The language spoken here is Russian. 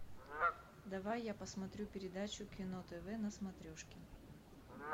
давай я посмотрю передачу кино тв на смотрешке